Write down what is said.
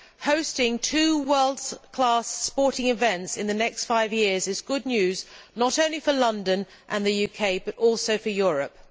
Hosting two world class sporting events in the next five years is good news, not only for London and the UK, but also for Europe.